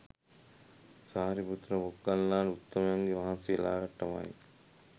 සාරිපුත්ත මොග්ගල්ලාන උත්තමයන් වහන්සේලාටමයි.